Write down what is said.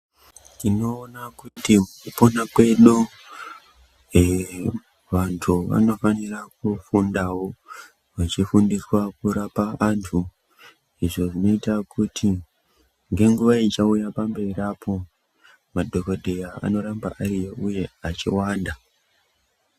Tinowona kuti kupona kwedu eeh vantu vanofanire kufundawo vachifundiswa kurapa antu zvinoita kuti ngenguwa ichawuya pamberi apo madhokodheya anorambe ariyo uye echiwanda